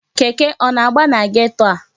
Keke a na-agba na geto a?